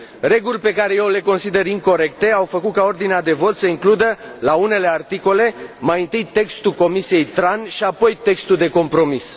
Reguli pe care eu le consider incorecte au făcut ca ordinea de vot să includă la unele articole mai întâi textul Comisiei TRAN, și apoi textul de compromis.